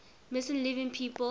missing living people